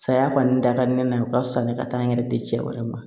Saya kɔni da ka di ne na u ka fisa ni ka taa n yɛrɛ di cɛ wɛrɛ ma